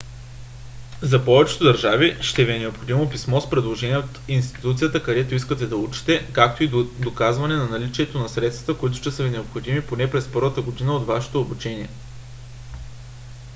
за повечето държави ще ви е необходимо писмо с предложение от институцията където искате да учите както и доказване на наличието на средства които ще са ви необходими поне през първата година от вашето обучение